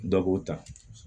Dɔ k'o ta